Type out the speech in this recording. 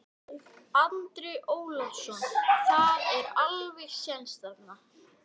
Andri Ólafsson: Það er alveg séns þarna?